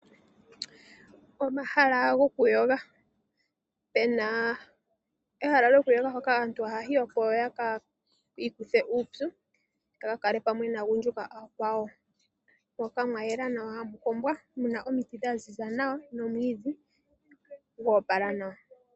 Omahala gokuyoga Opuna ehala lyokuyoga hoka aantu haya yi, opo yaka ikuthe uupyu, yaka kale pamwe naagundjuka aakwawo, moka mwa yela nawa hamu kombwa, muna omiti dha ziza nawa nomwiidhi go opala nawa.